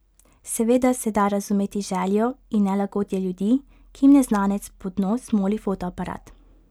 Seveda se da razumeti željo in nelagodje ljudi, ki jim neznanec pod nos moli fotoaparat.